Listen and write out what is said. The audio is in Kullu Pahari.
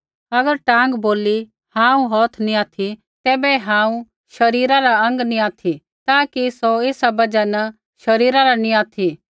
अगर टाँग बोलली हांऊँ हौथ नी ऑथि तैबै हांऊँ शरीरा रा अौंग नी ऑथि ता कि सौ ऐसा बजहा न शरीरा रा नी ऑथि